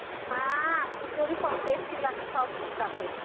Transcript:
হ্যাঁ খিচুরী সব tasty লাগে সব ঠিক আছে.